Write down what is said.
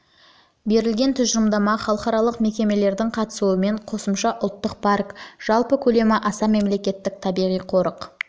берілген тұжырымдама халықаралық мекемелердің қатысуымен қосымша ұлттық парк оның жалпы көлемі аса мемлекеттік табиғи қорық